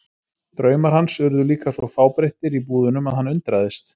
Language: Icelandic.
Draumar hans urðu líka svo fábreyttir í búðunum að hann undraðist.